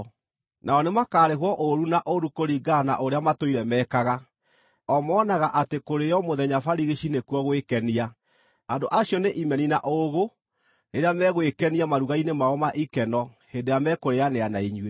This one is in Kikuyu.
Nao nĩmakarĩhwo ũũru na ũũru kũringana na ũrĩa matũire mekaga. O monaga atĩ kũrĩĩo mũthenya barigici nĩkuo gwĩkenia. Andũ acio nĩ imeni na ũũgũ, rĩrĩa megwĩkenia maruga-inĩ mao ma ikeno hĩndĩ ĩrĩa mekũrĩanĩra na inyuĩ.